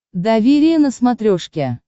доверие на смотрешке